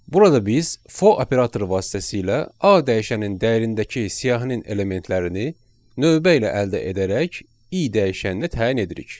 Burada biz for operatoru vasitəsilə A dəyişənin dəyərindəki siyahının elementlərini növbə ilə əldə edərək i dəyişəninə təyin edirik.